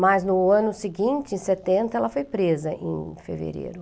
Mas no ano seguinte, em setenta, ela foi presa em fevereiro.